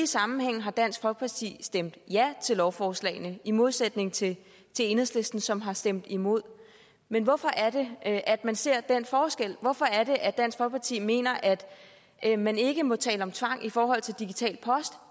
sammenhæng har dansk folkeparti stemt ja til lovforslagene i modsætning til enhedslisten som har stemt imod men hvorfor er det at at man ser den forskel hvorfor er det at dansk folkeparti mener at man ikke må tale om tvang i forhold til digital post